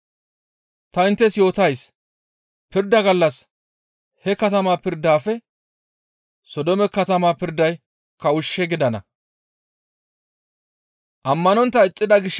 Ta inttes yootays pirda gallas he katama pirdafe Sodoome katama pirday kawushshe gidana.